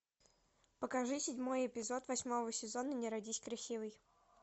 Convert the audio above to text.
покажи седьмой эпизод восьмого сезона не родись красивой